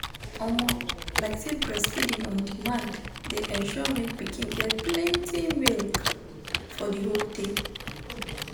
omo lyk say breastfeeding on demand de ensure make pikin get plenty milk for the hold day